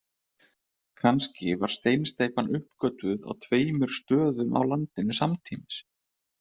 Kannski var steinsteypan uppgötvuð á tveimur stöðum á landinu samtímis.